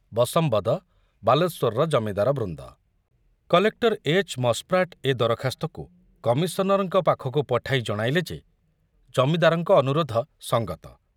ବଶମ୍ବଦ ବାଲେଶ୍ବରର ଜମିଦାରବୃନ୍ଦ କଲେକ୍ଟର ଏଚ.ମସ୍‌ପ୍ରାଟ ଏ ଦରଖାସ୍ତକୁ କମିଶନରଙ୍କ ପାଖକୁ ପଠାଇ ଜଣାଇଲେ ଯେ ଜମିଦାରଙ୍କ ଅନୁରୋଧ ସଙ୍ଗତ।